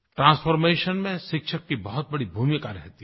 transformation में शिक्षक की बहुत बड़ी भूमिका रहती है